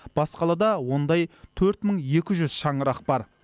бас қалада ондай төрт мың екі жүз шаңырақ бар